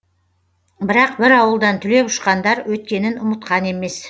бірақ бір ауылдан түлеп ұшқандар өткенін ұмытқан емес